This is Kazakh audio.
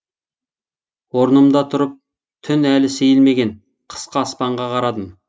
орнымда тұрып түн әлі сейілмеген қысқы аспанға қарадым